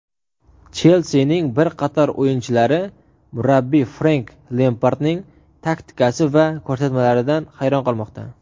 "Chelsi"ning bir qator o‘yinchilari murabbiy Frenk Lempardning taktikasi va ko‘rsatmalaridan hayron qolmoqda.